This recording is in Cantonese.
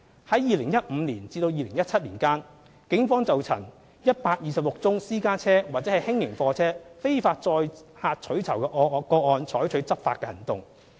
在2015年至2017年間，警方曾就126宗私家車或輕型貨車非法載客取酬的個案採取執法行動。